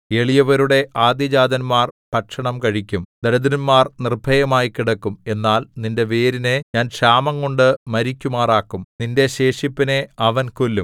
എളിയവരുടെ ആദ്യജാതന്മാർ ഭക്ഷണം കഴിക്കും ദരിദ്രന്മാർ നിർഭയമായി കിടക്കും എന്നാൽ നിന്റെ വേരിനെ ഞാൻ ക്ഷാമംകൊണ്ടു മരിക്കുമാറാക്കും നിന്റെ ശേഷിപ്പിനെ അവൻ കൊല്ലും